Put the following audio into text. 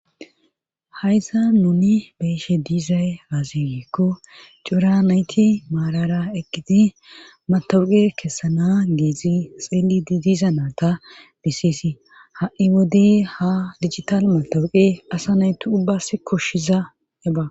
Hayza nuni beshe diizay aazigeekko cuura nayti maarara eqqidi matawuqe kessana geezi xeeli di diiza naata biseesi ha'i wodey ha dijital matawuqe asa nayti ubbas koshshiza eba.